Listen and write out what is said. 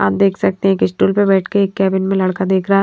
आप देख सकते हैं एक स्टूल पर बैठ के एक कैबिन में लड़का देख रहा है।